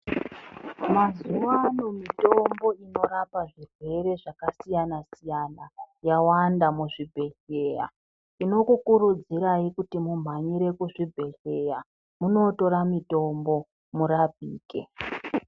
Mazuwa ano mitombo inorapa zvirwere zvakasiyana siyana yawanda muzvibhehlera tinokukurudzirai kuti mumhanyire kuzvibhehlera munotora mitombo murapike.